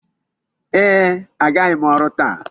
Ee, agaghị m ọrụ taa.